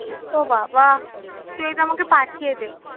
ও বাবা তুই এটা আমাকে পাঠিয়ে দে।